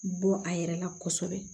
Bɔ a yɛrɛ la kɔsɛbɛ